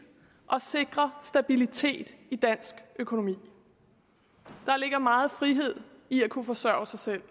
og sikre stabilitet i dansk økonomi der ligger meget frihed i at kunne forsørge sig selv